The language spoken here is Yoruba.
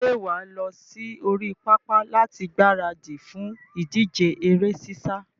Ṣé wà á lọ sí orí pápá láti gbaradì fún ìdíje eré sísá?